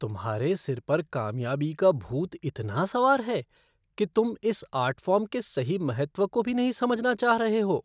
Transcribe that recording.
तुम्हारे सिर पर कामयाबी का भूत इतना सवार है कि तुम इस आर्ट फ़ॉर्म के सही महत्व को भी नहीं समझना चाह रहे हो।